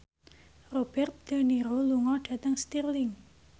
Robert de Niro lunga dhateng Stirling